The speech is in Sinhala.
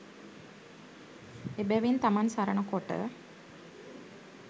එබැවින් තමන් සරණ කොට